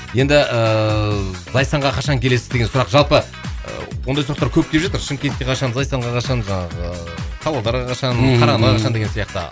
енді ыыы зайсанға қашан келесіз деген сұрақ жалпы ы ондай сұрақтар көп келіп жатыр шымкентке қашан зайсанға қашан жаңағы павлодарға қашан қарағандыға қашан деген сияқты